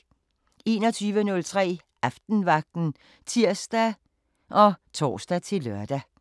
21:03: Aftenvagten (tir og tor-lør)